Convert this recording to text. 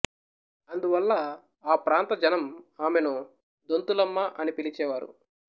అందువల్ల ఆ ప్రాంత జనం ఆమెను దొంతులమ్మ అని పిలిచేవారు